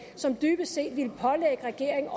som dybest set ville pålægge regeringen